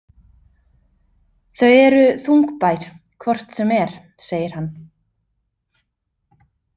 Þau eru þungbær hvort sem er, segir hann.